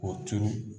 K'o turu